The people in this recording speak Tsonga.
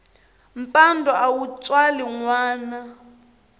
mpandwa a wu tswali nwana